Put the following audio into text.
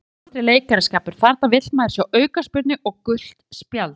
Þetta var aldrei leikaraskapur, þarna vill maður sjá aukaspyrnu og gult spjald.